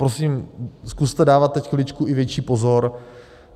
Prosím, zkuste dávat teď chviličku i větší pozor.